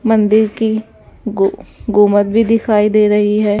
मंदिर की गु गुंबद भी दिखाई दे रही है।